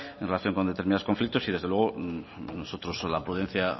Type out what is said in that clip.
en relación con determinados conflictos y desde luego nosotros la prudencia